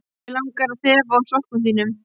Mig langar að þefa af sokkum þínum.